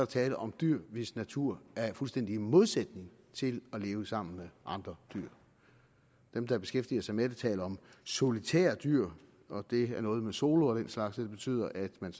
tale om dyr hvis natur er i fuldstændig modsætning til at leve sammen med andre dyr dem der beskæftiger sig med det taler om solitære dyr og det er noget med solo og den slags og det betyder at man